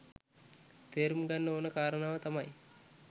තේරුම්ගන්න ඕන කාරණාව තමයි